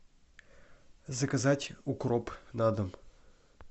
заказать укроп на дом